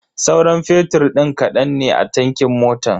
Sauran fetur din kadan ne a tankin motan.